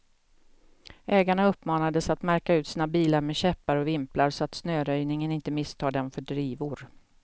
Ägarna uppmanades att märka ut sina bilar med käppar och vimplar, så att snöröjningen inte misstar dem för drivor.